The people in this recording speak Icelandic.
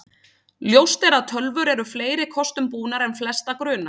Ljóst er að tölvur eru fleiri kostum búnar en flesta grunar.